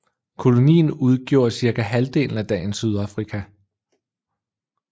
Kolonien udgjorde cirka halvdelen af dagens Sydafrika